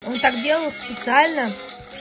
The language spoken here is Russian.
он так сделал специально